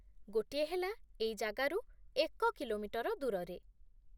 ଗୋଟିଏ ହେଲା ଏଇ ଜାଗାରୁ ଏକ କିଲୋମିଟର ଦୂରରେ ।